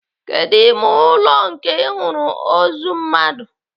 Kedụ ime ụlọ nke Ị hụrụ ozu mmadụ?